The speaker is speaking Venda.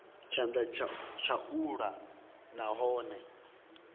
tshanḓa tsha u ḽa nahone